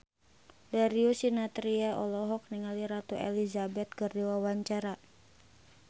Darius Sinathrya olohok ningali Ratu Elizabeth keur diwawancara